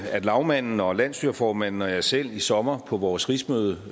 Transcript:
at lagmanden og landsstyreformanden og jeg selv i sommer på vores rigsmøde